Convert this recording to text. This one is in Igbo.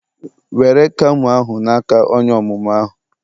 were camo ahu na-aka onye omumu ahu